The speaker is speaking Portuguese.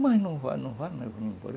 Mas não vá, não vá